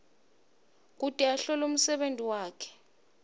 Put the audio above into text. ahlole umsebenti wakhe